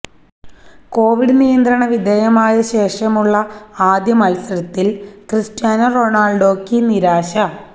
Covid നിയന്ത്രണ വിധേയമായ ശേഷമുള്ള ആദ്യമത്സരത്തില് ക്രിസ്റ്റ്യാനോ റൊണാള്ഡോയ്ക്ക് നിരാശ